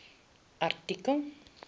artikel